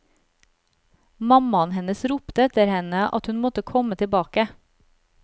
Mammaen hennes ropte etter henne at hun måtte komme tilbake.